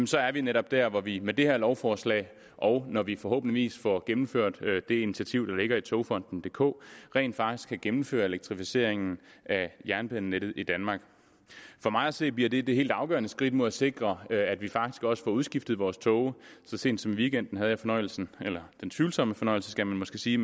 så er vi netop der hvor vi med det her lovforslag og når vi forhåbentlig får gennemført det initiativ der ligger i togfonden dk rent faktisk kan gennemføre elektrificeringen af jernbanenettet i danmark for mig at se bliver det det helt afgørende skridt mod at sikre at vi faktisk også får udskiftet vores tog så sent som i weekenden havde jeg fornøjelsen eller den tvivlsomme fornøjelse skal man måske sige